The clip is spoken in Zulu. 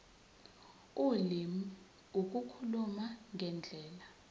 ulimi ukukhuluma ngendlela